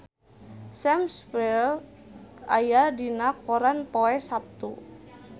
Sam Spruell aya dina koran poe Saptu